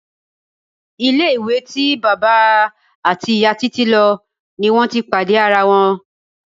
Ilé-ìwé tí bàbá àti ìyá Títí lo ni wọn ti pàdé ara wọn.